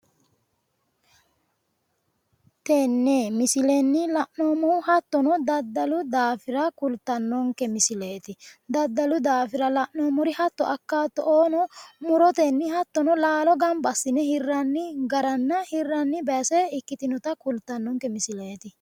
Tenne misilenni la'noommohu hattono daddalu daafira kultannonke misileeti. daddalu daafira lanoo'mmori hatto akkaatto'oo murotenni hattono laalo gamba assiine hirranni garanna hirranni base ikkitinota kultannonke misileeti.